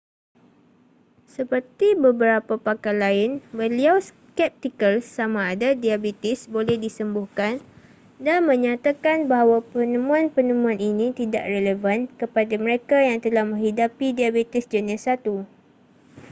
seperti beberapa pakar lain beliau skeptikal sama ada diabetes boleh disembuhkan dan menyatakan bahawa penemuan-penemuan ini tidak relevan kepada mereka yang telah menghidapi diabetes jenis 1